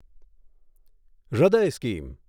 હૃદય સ્કીમ